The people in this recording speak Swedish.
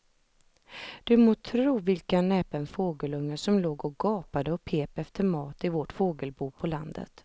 Du må tro vilken näpen fågelunge som låg och gapade och pep efter mat i vårt fågelbo på landet.